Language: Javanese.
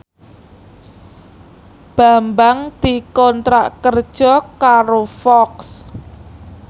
Bambang dikontrak kerja karo Fox